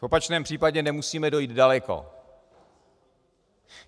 V opačném případě nemusíme dojít daleko.